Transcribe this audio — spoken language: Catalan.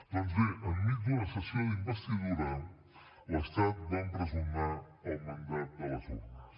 doncs bé enmig d’una sessió d’investidura l’estat va empresonar el mandat de les urnes